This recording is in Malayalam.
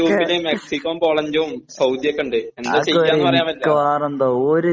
അർജന്റീന് ന്റെ ഗ്രൂപ്പില് മെക്സിക്കൊ പോളണ്ട് സൌദി ഒക്കെ ഉണ്ട് എന്താ ചെയ്യാ എന്ന് പറയാൻ പറ്റില്ല